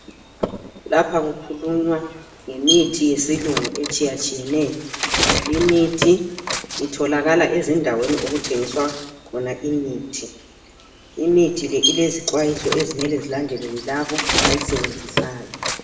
Lapha kukhulunywa ngemithi yesilungu etshiyatshiyeneyo , lemithi itholakala ezindaweni okuthengiswa khona imithi , imithi le ilezixwayiso okumele zilandelwe yilabo abayisebenzisayo.